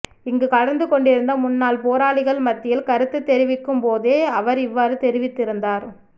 இங்கு கலந்துகொண்டிருந்த முன்னாள் போராளிகள் மத்தியில் கருத்துத் தெரிவிக்கும் போதே அவர் இவ்வாறு தெரிவித்திருந்தார்